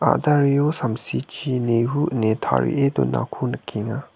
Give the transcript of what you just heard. a·dareo samsichi nehu ine tarie donako nikenga.